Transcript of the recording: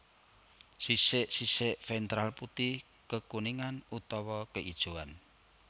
Sisik sisik ventral putih kekuningan utawa keijoan